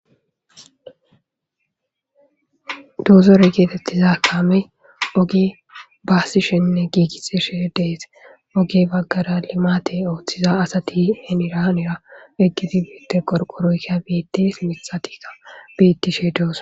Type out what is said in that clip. doozorey geetettiza kaame oge baasishenne giigiseshe dees oge baggara limaate ooththiza asati henira hanira eggiti biitte qorqoroyka biites mithatikka biittishe doosa